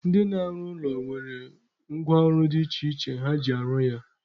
Ndị na-arụ ụlọ nwere ngwa ọrụ dị iche iche ha ji arụ ya.